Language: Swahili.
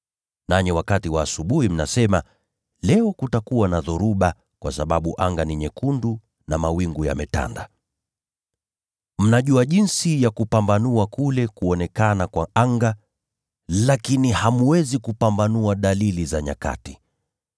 Nanyi wakati wa asubuhi mnasema, ‘Leo kutakuwa na dhoruba, kwa sababu anga ni nyekundu na mawingu yametanda.’ Mnajua jinsi ya kupambanua kule kuonekana kwa anga, lakini hamwezi kupambanua dalili za nyakati.